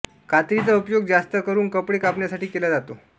कात्रीचा उपयोग जास्त करून कपडे कापण्यासाठी केला जातो